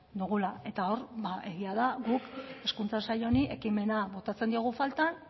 dugula eta hor egia da guk hezkuntza sailari ekimena botatzen diogu faltan